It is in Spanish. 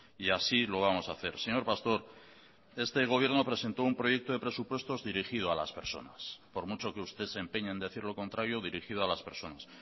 y así lo vamos a hacer señor pastor este gobierno presentó un proyecto de presupuestos dirigido a las personas por mucho que usted se empeñe en decir lo contrario dirigido a las personas